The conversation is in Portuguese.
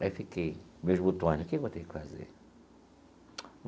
Aí fiquei, com meus botões né, o que eu vou ter que fazer?